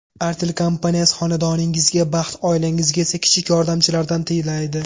Artel kompaniyasi xonadoningizga baxt, oilangizga esa kichik yordamchilardan tilaydi.